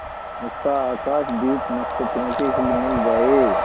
उसका आकाशदीप नक्षत्रों से हिलमिल जाए